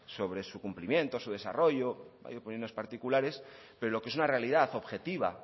sobre su cumplimiento su desarrollo hay opiniones particulares pero lo que es una realidad objetiva